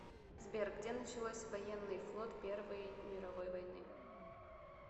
сбер где началось военный флот первой мировой войны